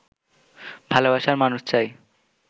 ভালবাসার মানুষ চাই